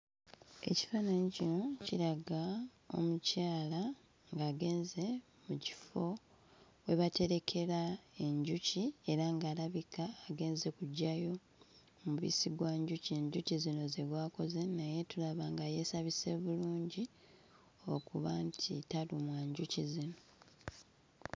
Ekifaananyi kino kiraga omukyala ng'agenze mu kifo we baterekera enjuki era ng'alabika agenze kuggyayo mubisi gw'enjuki enjuki zino ze gwakoze naye tulaba nga yeesabise bulungi okuba nti talumwa njuki zino.